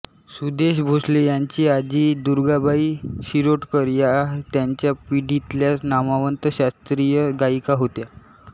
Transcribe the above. सुदेश भोसले यांची आजी दुर्गाबाई शिरोडकर या त्यांच्या पिढीतल्या नामवंत शास्त्रीय गायिका होत्या